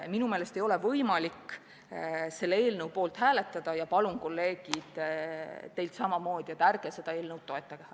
Minu meelest ei ole võimalik selle eelnõu poolt hääletada ja palun, kolleegid, teilt samamoodi, ärge seda eelnõu toetage!